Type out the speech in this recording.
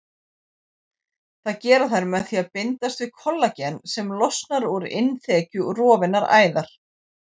Það gera þær með því að bindast við kollagen sem losnar úr innþekju rofinnar æðar.